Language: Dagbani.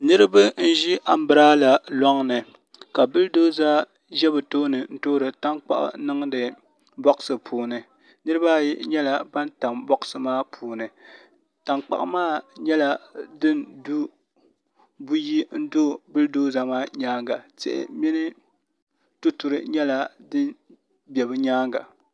Niraba n ʒi anbirala loŋni ka bull doza ʒɛ bi tooni n toori tankpaɣu n niŋdi bogsi puuni nirabaayi nyɛla ban tam bogsi maa puuni tankpaɣu maa nyɛla din du buyi n do bul doza maa nyaanga tihi mini tuturi nyɛla din bɛ bi nyaanga